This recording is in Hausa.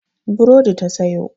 Burodi ta sayo.